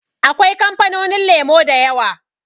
Akwai kamfanonin lemo da yawa.